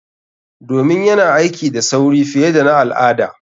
Domin yana aiki da sauri fiye da na al'ada.